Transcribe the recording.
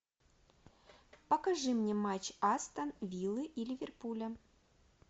покажи мне матч астон виллы и ливерпуля